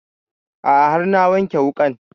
A'a har na wanke wuƙan